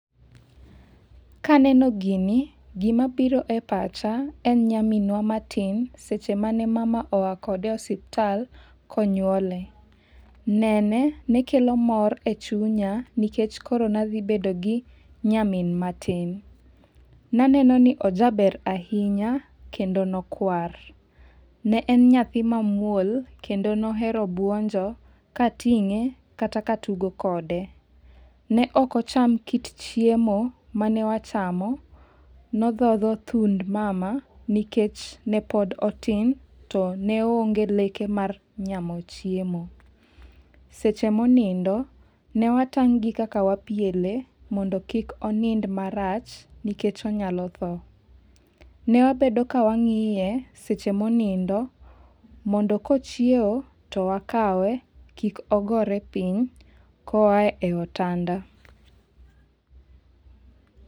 Kaneno gini, gima biro e pacha en nyaminwa matin seche mane mama oa kode e osiptal konywole. Nene, nekolo mor e chunya nikech koro nadhi bedogi nyamin matin. Naneno ni ojaber ahinya kendo nokwar. Ne en nyathi ma muol kendo nohero buonjo kating'e kata katugo kode. Ne ok ocham kit chiemo mane wachamo, nodhodho thund mama nikech nepod otin, to ne onge leke mar nyamo chiemo. Seche monindo, ne watang' gi kaka wapiele mondo kik onind marach nikech onyalo tho. Newabedo ka wang'iye seche monindo, mondo kochiewo to wakawe kik ogore piny koa e otanda.